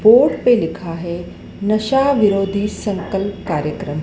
Board पे लिखा है नशा विरोधी संकल्प कार्यक्रम।